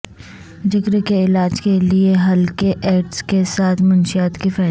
جگر کے علاج کے لئے ہلکے ایسڈ کے ساتھ منشیات کی فہرست